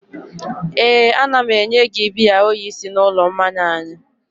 éè, a na m enye gị biya oyi si n'ụlọ mmanya anyị